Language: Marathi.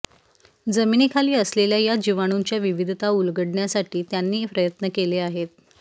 जमिनीखाली असलेल्या या जिवाणूंच्या विविधता उलगडण्यासाठी त्यांनी प्रयत्न केले आहेत